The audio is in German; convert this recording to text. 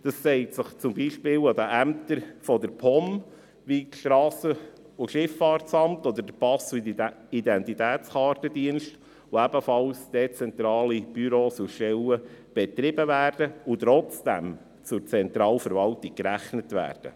Das zeigt sich zum Beispiel an den Ämtern der POM, wie das Strassen- und Schifffahrtsamt oder der Pass- und Identitätskartendienst, welche ebenfalls dezentrale Büros und Stellen betreiben und trotzdem zur Zentralverwaltung gezählt werden.